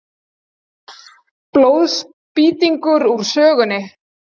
Blóðspýtingur úr sögunni.